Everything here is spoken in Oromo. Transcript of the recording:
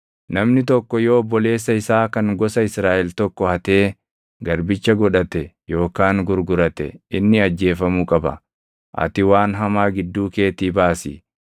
Namni tokko yoo obboleessa isaa kan gosa Israaʼel tokko hatee garbicha godhate yookaan gurgurate inni ajjeefamuu qaba. Ati waan hamaa gidduu keetii baasi.